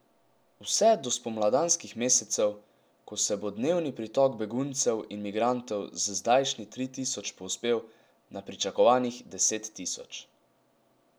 Vse do spomladanskih mesecev, ko se bo dnevni pritok beguncev in migrantov z zdajšnjih tri tisoč povzpel na pričakovanih deset tisoč.